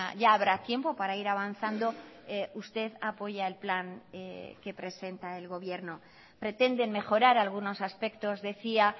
ya habrá tiempo para ir avanzando usted apoya el plan que presenta el gobierno pretenden mejorar algunos aspectos decía